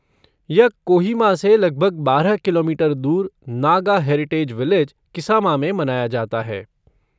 यह कोहिमा से लगभग बारह किलोमीटर दूर नागा हेरिटेज विलेज, किसामा में मनाया जाता है।